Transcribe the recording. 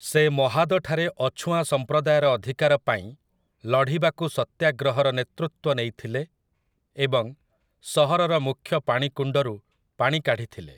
ସେ ମହାଦଠାରେ ଅଛୁଆଁ ସମ୍ପ୍ରଦାୟର ଅଧିକାର ପାଇଁ ଲଢ଼ିବାକୁ ସତ୍ୟାଗ୍ରହର ନେତୃତ୍ୱ ନେଇଥିଲେ ଏବଂ ସହରର ମୁଖ୍ୟ ପାଣିକୁଣ୍ଡରୁ ପାଣି କାଢ଼ିଥିଲେ ।